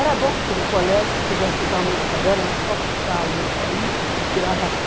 Era bom, porque no colégio, se quisesse usar o mesmo caderno, era só puxar a letra i, virava tê.